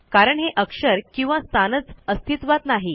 कारण हे अक्षर किंवा स्थानच अस्तित्वात नाही